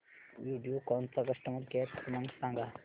व्हिडिओकॉन चा customer care क्रमांक सांगा